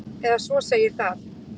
Eða svo segir það.